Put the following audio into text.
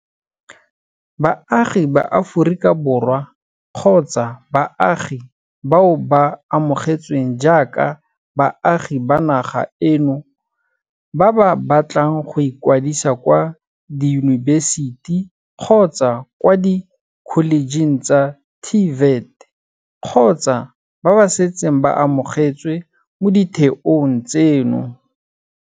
Baagi ba Aforika Borwa kgotsa baagi bao ba amogetsweng jaaka baagi ba naga eno ba ba batlang go ikwadisa kwa diyunibesiti kgotsa kwa dikholejeng tsa TVET kgotsa ba ba setseng ba amogetswe mo ditheong tseno.